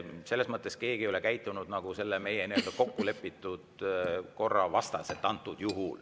Selles mõttes keegi ei ole praegu käitunud meie kokkulepitud korra vastaselt.